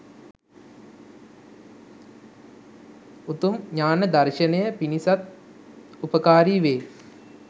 උතුම් ඤාණ දර්ශනය පිණිසත් උපකාරී වේ